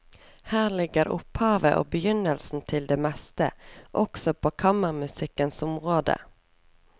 Her ligger opphavet og begynnelsen til det meste, også på kammermusikkens område.